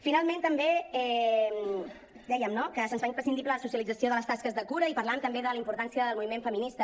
finalment també dèiem no que se’ns fa imprescindible la socialització de les tasques de cura i parlàvem també de la importància del moviment feminista